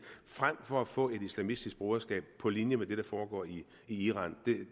frem for at få et islamistisk broderskab på linje med det der foregår i iran